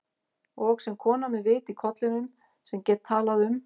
Og sem kona með vit í kollinum, sem get talað um